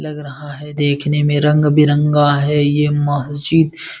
लग रहा है देखने में रंग-बिरंगा है ये मस्जिद।